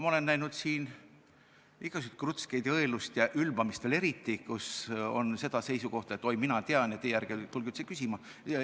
Ma olen näinud siin igasuguseid krutskeid ja õelust ja eriti veel ülbamist, kus on seda seisukohta, et oi, mina tean ja teie ärge tulge üldse küsima.